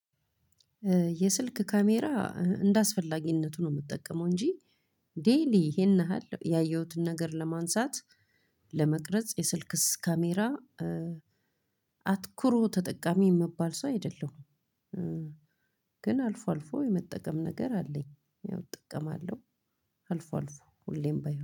የስልክ ካሜራ እንደአስፈላጊነቱ ነው የምጠቀመው እንጂ ዴይሊ ይሄን ያህል ያየሁትን ነገር ለማንሳት ለመቅረጽ የስልክስ ካሜራ አትኩሮ ተጠቃሚ የምባል ሰው አይደለሁም። ግን አልፎ አልፎ የመጠቀም ነገር አለኝ። ያው እጠቀማለው አልፎ አልፎ ሁሌም ባይ